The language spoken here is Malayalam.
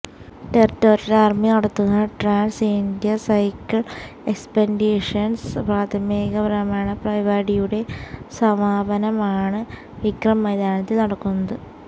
ടെറിട്ടോറിയല് ആര്മി നടത്തുന്ന ട്രാന്സ് ഇന്ത്യ സൈക്കിള് എക്സ്പെഡീഷന്സ് പ്രാദേശിക ഭ്രമണ് പരിപായുടെ സമാപനനമാണ് വിക്രം മൈതാനിയില് നടക്കുന്നത്്